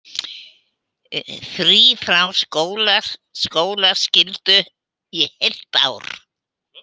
Frí frá skólaskyldu í heilt ár